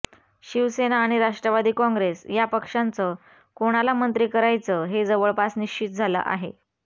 शिवसेना आणि राष्ट्रवादी काँग्रेस या पक्षांचं कोणाला मंत्री करायचं हे जवळपास निश्चित झालं आहे